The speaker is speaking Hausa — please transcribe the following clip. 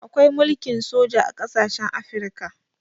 Akwai mulkin soja a ƙasashen Afirika.